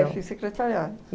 eu fiz secretariado.